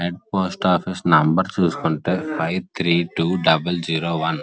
and post office number చూసుకుంటే five three two double zero one --